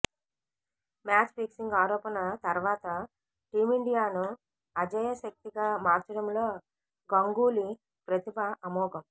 match fixing ఆరోపణ తర్వాత టీమిండియాను అజేయశక్తిగా మార్చడంలో గంగూలీ ప్రతిభ అమోఘం